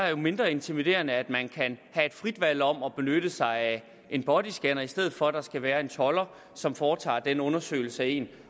er mindre intimiderende at man kan have et frit valg om at benytte sig af en bodyscanner i stedet for at der skal være en tolder som foretager den undersøgelse af en